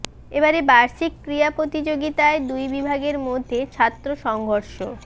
এবারে বার্ষিক ক্রীড়া প্রতিযোগিতায় দুই বিভাগের মধ্যে ছাত্র সংঘর্ষ